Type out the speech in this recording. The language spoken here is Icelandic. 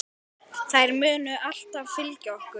Þær munu alltaf fylgja okkur.